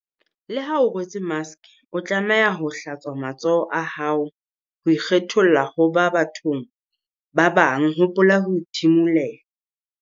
Le ha o rwetse maske o tlameha ho- hlatswa matsoho a hao ho ikgetholla ho ba bathong ba bang hopola ho thimulela.